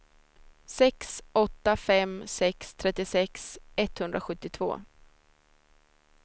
sex åtta fem sex trettiosex etthundrasjuttiotvå